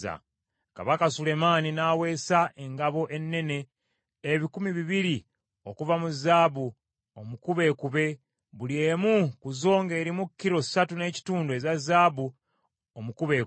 Kabaka Sulemaani n’aweesa engabo ennene ebikumi bibiri okuva mu zaabu omukubeekube, buli emu ku zo ng’erimu kilo ssatu n’ekitundu eza zaabu omukubeekube.